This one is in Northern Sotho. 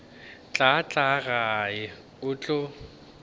tla tla gae go tlo